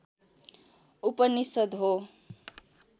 उपनिषद् हो